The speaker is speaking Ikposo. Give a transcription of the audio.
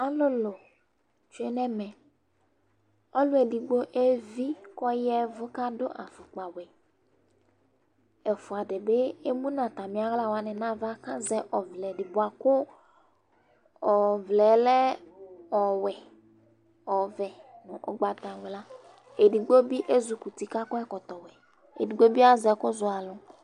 Ɛmɛ lɛ ɛzawla dini, ƙpoku nɩ tsue nʋ edinieƐkplɔ ɖɩ bɩ ma nʋ ɩhɩlɩ ƴɛ bʋa kʋ flawa dɩ ma nayava, ɩtsɛdɩ bɩ itsu wla dɩ ma